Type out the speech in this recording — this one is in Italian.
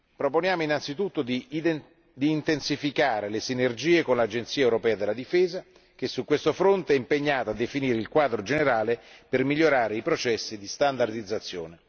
Proponiamo anzitutto di intensificare le sinergie con l'Agenzia europea della difesa, che su questo fronte è impegnata a definire il quadro generale per migliorare i processi di standardizzazione.